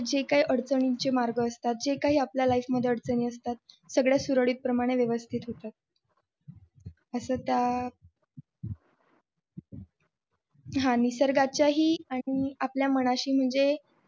जे काही अडचणींची मार्ग असतात जे काही आपल्याला लाईफ मध्ये अडचणी असतात सगळ्या सगळं सुरत प्रमाणे व्यवस्थित होतं असं त्या आणि निसर्गाच्या ही आणि आपल्या मनाशी म्हणजे